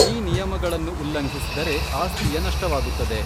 ಈ ನಿಯಮಗಳನ್ನು ಉಲ್ಲಂಘಿಸಿದರೆ ಆಸ್ತಿಯ ನಷ್ಟವಾಗುತ್ತದೆ.